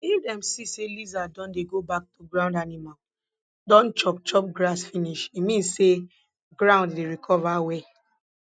if dem see say lizard don dey go back to ground animal don chop chop grass finish e mean say ground dey recover well